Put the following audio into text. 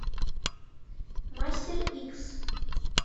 мастер икс